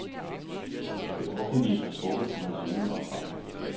Det offentlige har trukket på hans viden og erfaring.